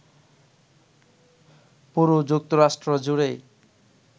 পুরো যুক্তরাষ্ট্র জুড়েই